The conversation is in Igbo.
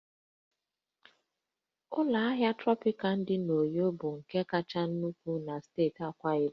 Ụlọ ahịa Trọpịkana dị n'Uyo bụ nke kachasị nnukwu na steeti Akwa Ibom